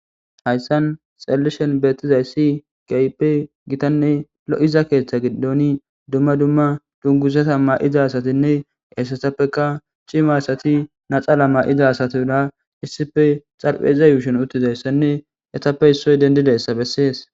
Hayssan xallishen beettizayssi gaype gitanne lo7iza keeththa giddoni dumma dumma dunguzata ma7iza asatinne esesappeka cima asati naxala maa7iza asatira issife xarpeiza yuushen uttizayssanne etappe issoy dendidayssa bessees.